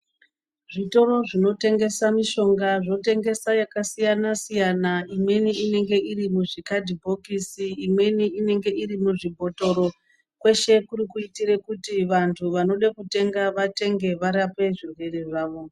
Zvitoro zvinotengesa mishonga, zvotengesa yakasiyana-siyana. Imweni inenge iri muzvikadhibhokisi, imweni inenge iri muzvibhotoro. Kweshe kuri kuyitire kuti vantu vanoda kutenga vatenge varapwe zvirwere zvavo.